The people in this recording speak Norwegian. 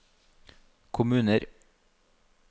kommuner